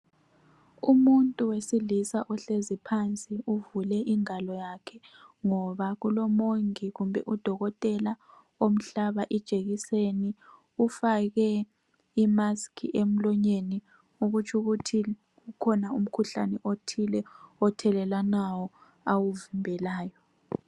Umuntu wesilisa ohlezi phansi uvule ingalo yakhe ngoba kulomongi kumbe udokotela omhlaba ijekiseni ufake imask emlonyeni okutsho ukuthi kukhona umkhuhlane othile othelelwanayo awuvimbelayo